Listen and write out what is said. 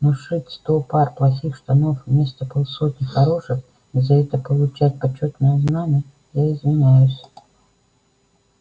но шить сто пар плохих штанов вместо полсотни хороших и за это получать почётное знамя я извиняюсь